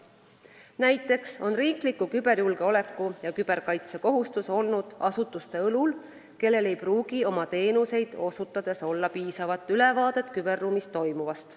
Näiteks on riikliku küberjulgeoleku ja küberkaitse kohustus olnud asutuste õlul, kellel ei pruugi oma teenuseid osutades olla piisavat ülevaadet küberruumis toimuvast.